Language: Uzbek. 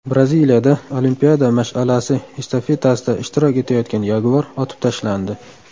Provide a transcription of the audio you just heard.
Braziliyada Olimpiada mash’alasi estafetasida ishtirok etayotgan yaguar otib tashlandi.